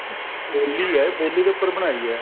ਉਹੀ ਏ ਬੋਲੀ ਦੇ ਉੱਪਰ ਬਣਾਈ ਐ